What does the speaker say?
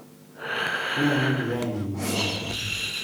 Nene kiain imach boriet